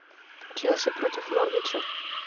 челси против норвича